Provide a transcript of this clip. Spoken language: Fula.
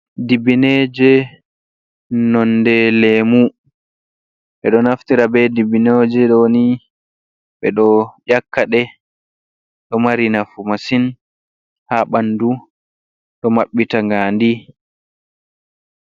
Dibbineje nonde leemu. Ɓeɗo naftira be dibbineje ɗoni ɓe ɗo ƴakkaɗe, ɗo mari nafu masin ha ɓandu. Ɗo maɓɓita gaandi.